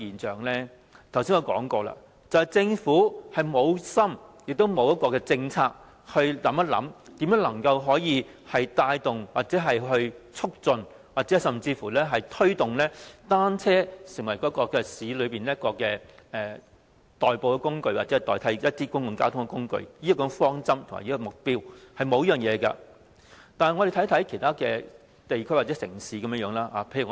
正如我剛才所說，政府無心，亦沒有一項政策，考慮如何能夠帶動、促進甚至推動單車成為市區內的代步工具或代替某些公共交通工具，政府並無考慮採取這種方針及目標。